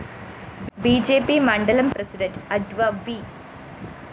B J P മണ്ഡലം president adv V